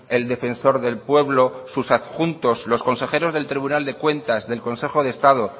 el defensor del pueblo sus adjuntos los consejeros del tribunal de cuentas del consejo de estado